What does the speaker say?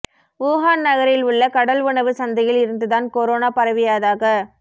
Wuhan நகரில் உள்ள கடல் உணவு சந்தையில் இருந்து தான் கொரோனா பரவியதாக